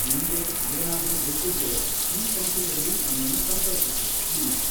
ನಿಮ್ಗೆ ಏನಾದ್ರೂ ಬೇಕಿದ್ರೆ ಈ ಸಂಖ್ಯೆಯಲ್ಲಿ ನಮ್ಮನ್ನ ಸಂಪರ್ಕಿಸಿ ಪ್ಲೀಸ್.